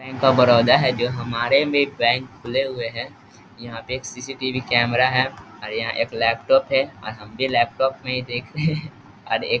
Bank of Baroda है जो हमारे में बैंक खुले हुए है यहां पे एक सी.सी.टी.वी. कैमरा है अर यहाँ एक लैपटॉप है अर हम भी लैपटॉप में ही देख रहे अर एक --